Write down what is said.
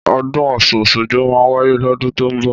Ọ̀dún ọsún osogbo mà wàyé lọ̀dún tọ mbọ